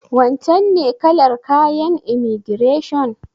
Wancen ne kalar kayan imaigireshon?